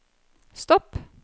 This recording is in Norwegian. stopp